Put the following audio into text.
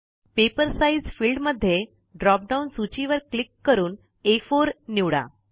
paper size field मध्ये drop down सूची वर क्लिक करून आ4 निवडा